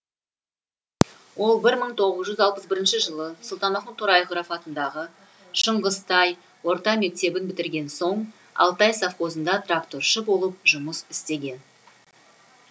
ол бір мың тоғыз жүз алпыс бірінші жылы сұлтанмахмұт торайғыров атындағы шыңғыстай орта мектебін бітірген соң алтай совхозында тракторшы болып жұмыс істеген